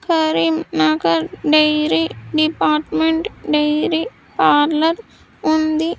Karim Nagar dairy department dairy parlour ఉంది.